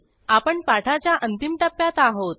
आपण पाठाच्या अंतिम टप्प्यात आहोत